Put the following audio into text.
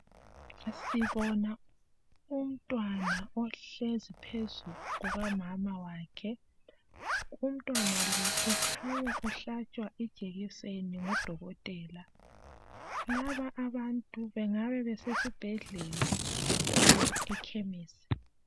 Sibona umntwana ohlezi phezu kukamamawakhe. Umntwana lo ukhanya uhlatshwa ijekiseni ngudokotela. Laba abantu bengabe besibhedlela or ekhemesi.